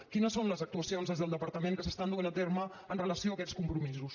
quines són les actuacions des del departament que s’estan duent a terme amb relació a aquests compromisos